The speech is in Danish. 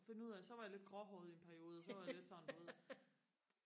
og finde ud af så var jeg lidt gråhåret i en periode og så var jeg sådan lidt du ved